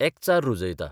एकचार रुजयता.